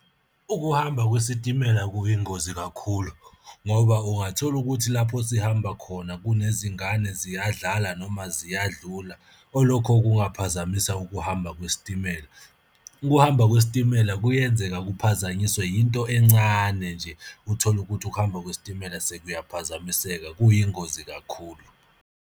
Ukuhamba kwesitimela kuyingozi kakhulu ngoba ungathola ukuthi lapho sihamba khona kunezingane ziyadlala noma ziyadlula, olokho kungaphazamisa ukuhamba kwesitimela, Ukuhamba kwesitimela kuyenzeka kuphazanyiswe yinto encane nje, uthole ukuthi ukuhamba kwesitimela sekuyaphazamiseka kuyingozi kakhulu.